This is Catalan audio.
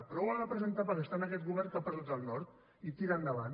però ho ha de presentar perquè està en aquest govern que ha perdut el nord i tira endavant